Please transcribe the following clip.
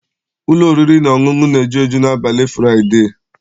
Ụlọ oriri na ọṅụṅụ na-eju eju n'abalị Fụraịdee.